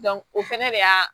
o fɛnɛ de y'a